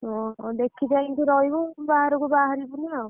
ଓହୋ ଦେଖି କାହିଁ ରହିବୁ ବାହାରକୁ ବହରିବୁନି।